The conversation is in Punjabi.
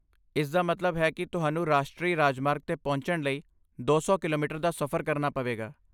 ਇਸਦਾ ਮਤਲਬ ਹੈ ਕਿ ਤੁਹਾਨੂੰ ਰਾਸ਼ਟਰੀ ਰਾਜਮਾਰਗ 'ਤੇ ਪਹੁੰਚਣ ਲਈ ਦੋ ਸੌ ਕਿਲੋਮੀਟਰ ਦਾ ਸਫ਼ਰ ਕਰਨਾ ਪਵੇਗਾ